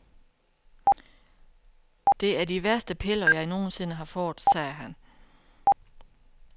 Det er de værste piller, jeg nogen sinde har fået, sagde han.